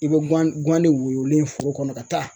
I bɛ gan gan de woyolen ye foro kɔnɔ ka taa